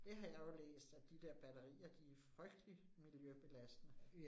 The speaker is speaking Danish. Det har jeg jo læst, at de der batterier, de frygtelig miljøbelastende